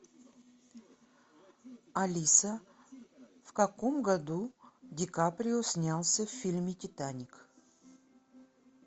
алиса в каком году ди каприо снялся в фильме титаник